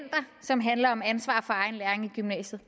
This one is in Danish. som handler om ansvar for egen læring i gymnasiet